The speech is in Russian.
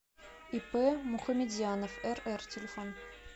ип мухаметзянов рр телефон